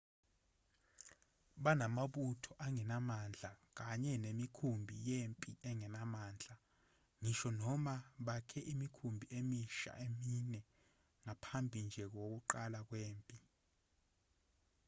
banamabutho angenamandla kanye nemikhumbi yempi engenamandla ngisho noma bakhe imikhumbi emisha emine ngaphambi nje kokuqala kwempi